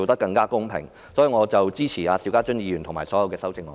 因此，我支持邵家臻議員的議案和所有修正案。